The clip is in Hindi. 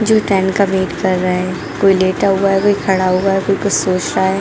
जो ट्रैन का वेट कर रहे हैं कोई लेटा हुआ हैं कोई खड़ा हुआ हैं कोई कोई सोच रहा हैं।